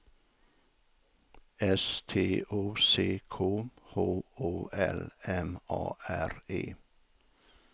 S T O C K H O L M A R E